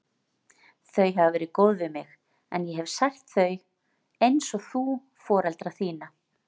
Þau hafa verið góð við mig, en ég hef sært þau, einsog þú foreldra þína.